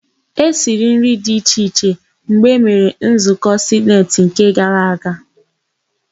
E siri nri dị iche iche mgbe emere nzụkọ sineti nke gara gara.